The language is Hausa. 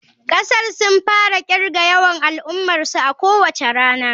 Kasar Sin tana kirga yawan al'ummarsu a kowace rana.